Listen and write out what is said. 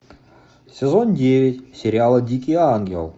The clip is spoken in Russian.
сезон девять сериала дикий ангел